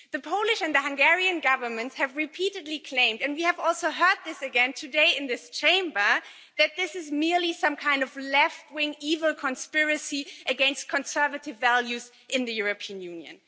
The Polish and the Hungarian governments have repeatedly claimed and we have also heard this again today in this Chamber that this is merely some kind of left wing evil conspiracy against conservative values in the European Union.